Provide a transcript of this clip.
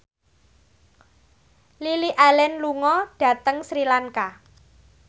Lily Allen lunga dhateng Sri Lanka